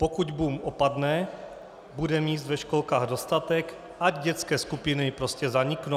Pokud boom opadne, bude míst ve školkách dostatek, ať dětské skupiny prostě zaniknou.